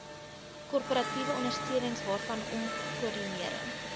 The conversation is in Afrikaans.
korporatiewe ondersteuningwaarvanom koördinering